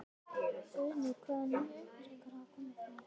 Guðný: Hvaða nýju upplýsingar hafa komið fram í dag?